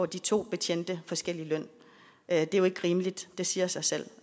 de to betjente forskellig løn det er jo ikke rimeligt det siger sig selv